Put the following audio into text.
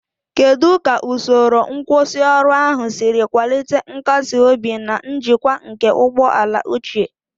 Kedu ka usoro nkwusioru ahụ siri kwalite nkasi obi na njikwa nke ụgbọ ala ochie?